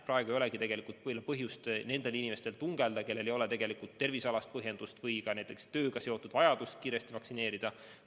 Praegu ei olegi tegelikult põhjust nendel inimestel tungelda, kellel ei ole tervisealast põhjust või ka tööga seotud vajadust kiiresti vaktsineerida.